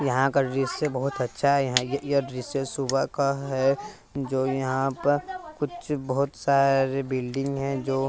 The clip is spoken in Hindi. यहां का डृश्य बहुत अच्छा है यहां य यह डृश्य सुबह का है जो यहां प कुच बहोत सारे बिल्डिंग हैं जो --